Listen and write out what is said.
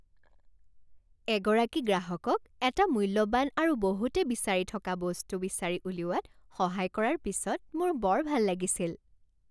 এগৰাকী গ্ৰাহকক এটা মূল্যৱান আৰু বহুতে বিচাৰি থকা বস্তু বিচাৰি উলিওৱাত সহায় কৰাৰ পিছত মোৰ বৰ ভাল লাগিছিল।